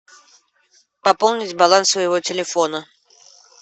пополнить баланс своего телефона